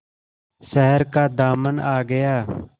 शहर का दामन आ गया